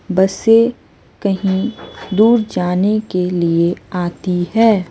बसें कहीं दूर जाने के लिए आती हैं।